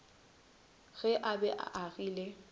ge a be a agile